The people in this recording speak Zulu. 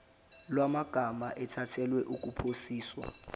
lwamagama ethulelwe ukuphasiswa